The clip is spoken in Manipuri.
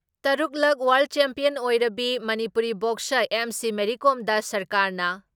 ꯇꯔꯨꯛ ꯂꯛ ꯋꯥꯔꯜ ꯆꯦꯝꯄꯤꯌꯟ ꯑꯣꯏꯔꯕꯤ ꯃꯅꯤꯄꯨꯔꯤ ꯕꯣꯛꯁꯔ ꯑꯦꯝ.ꯁꯤ. ꯃꯦꯔꯤ ꯀꯣꯝꯗ ꯁꯔꯀꯥꯔꯅ